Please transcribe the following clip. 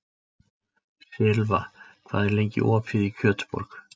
Silfa, hvað er lengi opið í Kjötborg?